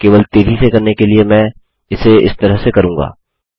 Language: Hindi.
केवल तेज़ी से करने के लिए मैं इसे इस तरह से करूँगा